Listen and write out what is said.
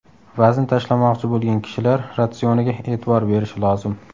Vazn tashlamoqchi bo‘lgan kishilar ratsioniga e’tibor berishi lozim.